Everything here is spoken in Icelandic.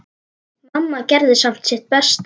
Mamma gerði samt sitt besta.